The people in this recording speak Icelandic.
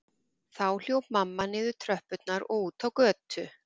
Þá hljóp mamma niður tröppurnar og út á götu.